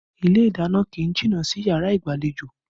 Ilé ìdáná kì í jìnnà sí yàrá ìgbàlejò